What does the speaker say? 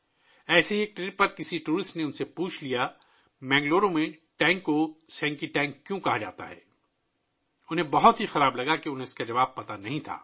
ایسے ہی ایک سفر پر ایک سیاح نے ان سے پوچھ لیا کہ بنگلور میں ٹینک کو سینکی ٹینک کیوں کہا جاتا ہے؟ انہیں بہت برا لگا کہ انہیں جواب معلوم نہیں تھا